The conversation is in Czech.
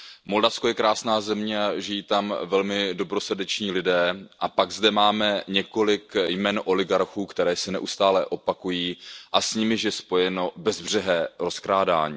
Moldavsko je krásná země, žijí tam velmi dobrosrdeční lidé a pak zde máme několik jmen oligarchů, která se neustále opakují a s nimiž je spojeno bezbřehé rozkrádání.